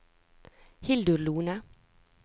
Hildur Lohne